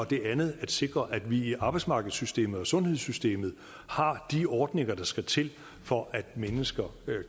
det andet er at sikre at vi i arbejdsmarkedssystemet og sundhedssystemet har de ordninger der skal til for at mennesker